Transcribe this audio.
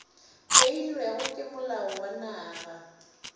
beilwego ke molao wa naga